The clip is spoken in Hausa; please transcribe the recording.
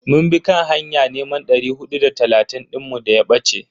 Mun bi kan hanya neman dari hudu da talatin dinmu daya bace.